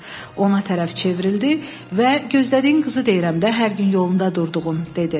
Ona tərəf çevrildi və gözlədiyin qızı deyirəm də, hər gün yolunda durduğun, dedi.